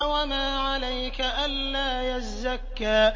وَمَا عَلَيْكَ أَلَّا يَزَّكَّىٰ